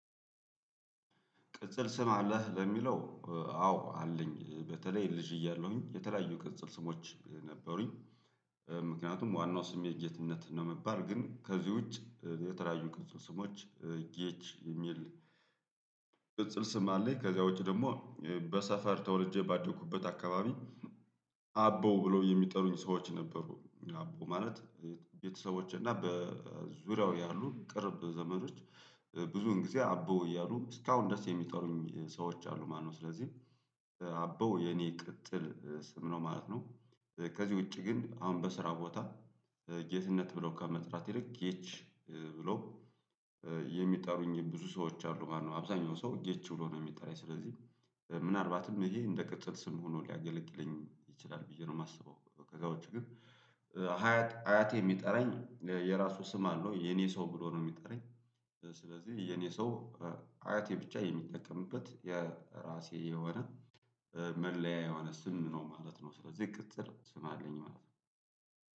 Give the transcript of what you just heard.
ቅጽል ስም አለህ ለሚለው አዎ አለኝ በተለይ ልጅ እያለሁኝ የተለያዩ ቅጽል ስሞች ነበሩኝ ምክንያቱም ዋናው ስሜ ጌትነት ነው የምባል ግን ከዚህ ውጭ የተለያዩ ቅጽል ስሞች ጌች የሚል ቅጽል ስም አለኝ ከዛ ውጪ ደግሞ በሰፈር ተወልጄ ባደኩበት አካባቢ አቦ ብሎ የሚጠሩኝ ሰዎች ነበሩ አቦ ማለት ቤተሰቦች እና በዙሪያው ያሉ ቅርብ ዘመዶች ብዙን ጊዜ አቦ እያሉ እስካሁን ደረስ የሚጠሩኝ ሰዎች አሉ ማነው ስለዚህ አበው የኔ ቅጥል ስም ነው ማለት ነው። ከዚህ ውጪ ግን አሁን በስራ ቦታ ጌትነት ብሎ ከመጥራት ይልቅ ጌቺ ብለው የሚጠሩኝ ብዙ ሰዎች አሉ ማለት ነው አብዛኛው ሰው ጌች ብሎ ነው የሚጠራኝ ስለዚህ ምናልባትም ይሄ እንደ ቅጽል ስም ሆኖ ሊያገለግለኝ ይችላል ብዬ ነው የማስበው ከዚያ ውጭ ግን ሃያት አያቴ የሚጠራኝ የራሱ ስም አለው የኔ ሰው ብሎ ነው የሚጠራኝ ስለዚህ የኔ ሰው አያቴ ብቻ የሚጠቀምበት የራሴ የሆነ መለያ የሆነ ስም ነው ማለት ነው ስለዚህ ቅጥር ስም አለኝ ማለት ነው።